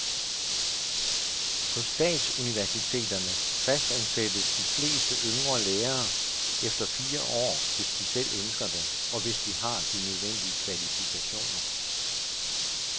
På statsuniversiteterne fastansættes de fleste yngre lærere efter fire år, hvis de selv ønsker det, og hvis de har de nødvendige kvalifikationer.